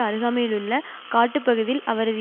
அருகாமையிலுள்ள காட்டுப்பகுதியில் அவரது